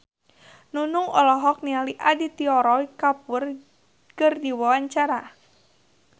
Nunung olohok ningali Aditya Roy Kapoor keur diwawancara